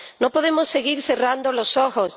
No podemos seguir cerrando los ojos.